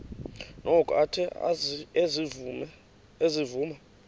noko athe ezivuma